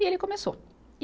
E ele começou.